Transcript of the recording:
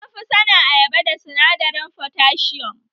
An fi sanin ayyaba da sinadarin fotasium